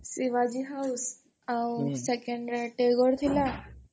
ଶିବାଜୀ ହାଉସ୍ ଆଉ second ରେ ଟାଗୋର ଥିଲା